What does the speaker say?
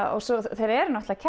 þeir eru náttúrulega